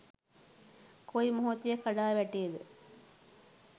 කොයි මොහොතේ කඩා වැටේද